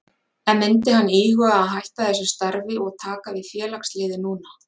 En myndi hann íhuga að hætta þessu starfi og taka við félagsliði núna?